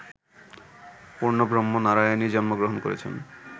পূর্ণব্রহ্ম নারায়ণই জন্মগ্রহণ করেছেন